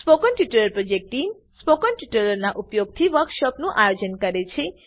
spoken tutorial project team spoken ટ્યુટોરીયલોનાં ઉપયોગથી વર્કશોપોનું આયોજન કરે છે